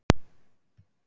Löglegar en á mörkunum